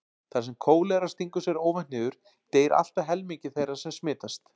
Þar sem kólera stingur sér óvænt niður deyr allt að helmingur þeirra sem smitast.